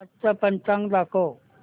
आजचं पंचांग दाखव